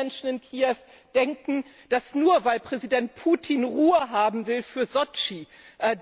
Und viele Menschen in Kiew denken, dass, nur weil Präsident Putin Ruhe haben will für Sotschi,